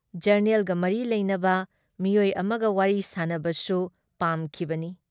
ꯖꯔꯅꯦꯜꯒ ꯃꯔꯤ ꯂꯩꯅꯕ ꯃꯤꯑꯣꯏ ꯑꯃꯒ ꯋꯥꯔꯤ ꯁꯥꯟꯅꯕꯁꯨ ꯄꯥꯝꯈꯤꯕꯅꯤ ꯫